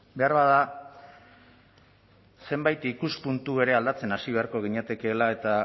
beharbada zenbait ikuspuntu ere aldatzen hasi beharko ginatekeela eta